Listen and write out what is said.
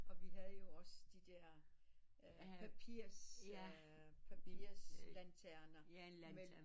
Og vi havde jo også de der papirs papirs lanterner